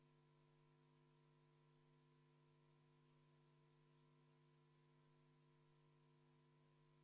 Panen hääletusele esimese muudatusettepaneku, mille on esitanud juhtivkomisjon seisukohaga arvestada täielikult.